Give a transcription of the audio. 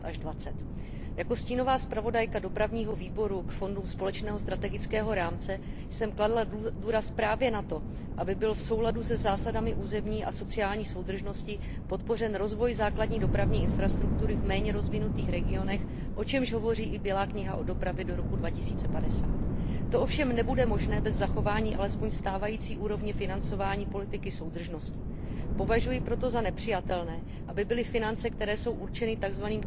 2020. Jako stínová zpravodajka Výboru pro dopravu a cestovní ruch k fondům společného strategického rámce jsem kladla důraz právě na to, aby byl v souladu se zásadami územní a sociální soudržnosti podpořen rozvoj základní dopravní infrastruktury v méně rozvinutých regionech, o čemž hovoří i Bílá kniha o dopravě do roku 2050. To ovšem nebude možné bez zachování alespoň stávající úrovně financování politiky soudržnosti. Považuji proto za nepřijatelné, aby byly finance, které jsou určeny tzv.